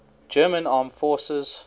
german armed forces